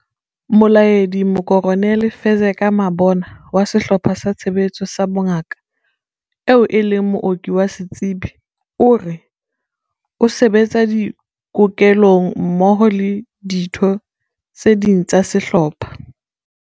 Molaedi Mokoronele Fezeka Mabona wa Sehlopha sa Tshebetso sa Bongaka, eo e leng mooki wa setsebi, o re o se betsa dikokelong mmoho le ditho tse ding tsa sehlopha.